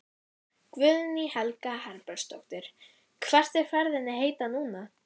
Guðný Helga Herbertsdóttir: Hvert er ferðinni heitið núna?